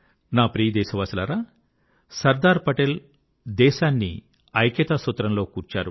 నా ప్రియ దేశవాసులారా సర్దార్ పటేల్ దేశాన్ని ఐక్యతా సూత్రంలో కూర్చారు